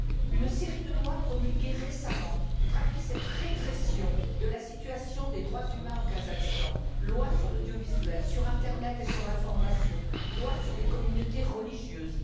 Une série de lois, promulguées récemment, traduit cette régression de la situation des droits humains au Kazakhstan lois sur l'audiovisuel, sur internet et sur l'information, loi sur les communautés religieuses.